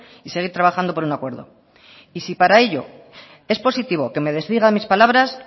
y seguir trabajando por un acuerdo y si para ello es positivo que me desdiga mis palabras